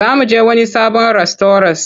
Za mu je wani sabon rastauras.